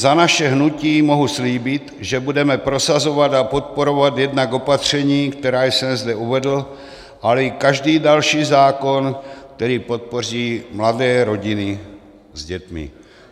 Za naše hnutí mohu slíbit, že budeme prosazovat a podporovat jednak opatření, která jsem zde uvedl, ale i každý další zákon, který podpoří mladé rodiny s dětmi.